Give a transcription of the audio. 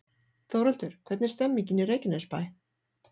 Þórhildur, hvernig er stemningin í Reykjanesbæ?